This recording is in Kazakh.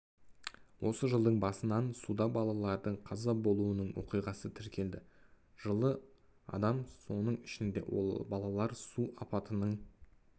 осы жылдың басынан суда балалардың қаза болуының оқиғасы тіркелді жылы адам соның ішінде балалар су апатының